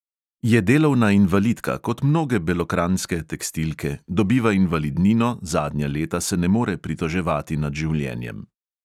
Je delovna invalidka kot mnoge belokranjske tekstilke, dobiva invalidnino, zadnja leta se ne more pritoževati nad življenjem.